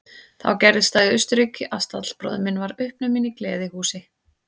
Þá gerðist það í Austurríki að stallbróðir minn varð uppnuminn í gleðihúsi.